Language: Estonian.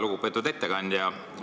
Väga lugupeetud ettekandja!